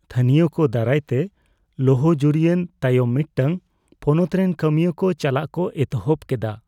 ᱛᱷᱟᱹᱱᱤᱭᱚ ᱠᱚ ᱫᱟᱨᱟᱭᱛᱮ ᱞᱚᱦᱚᱡᱩᱨᱤᱭᱮᱱ ᱛᱟᱭᱚᱢ ᱢᱤᱫᱴᱟᱝ ᱯᱚᱱᱚᱛ ᱨᱮᱱ ᱠᱟᱹᱢᱤᱭᱟᱹ ᱠᱚ ᱪᱟᱞᱟᱜ ᱠᱚ ᱮᱛᱚᱦᱚᱵ ᱠᱮᱫᱟ ᱾